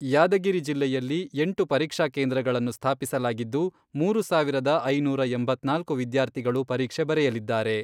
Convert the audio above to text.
ಯಾದಗಿರಿ ಜಿಲ್ಲೆಯಲ್ಲಿ ಎಂಟು ಪರೀಕ್ಷಾ ಕೇಂದ್ರಗಳನ್ನು ಸ್ಥಾಪಿಸಲಾಗಿದ್ದು, ಮೂರು ಸಾವಿರದ ಐನೂರ ಎಂಬತ್ನಾಲ್ಕು ವಿದ್ಯಾರ್ಥಿಗಳು ಪರೀಕ್ಷೆ ಬರೆಯಲಿದ್ದಾರೆ.